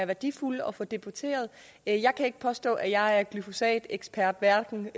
værdifuldt at få debatteret jeg kan ikke påstå at jeg er glyfosatekspert hverken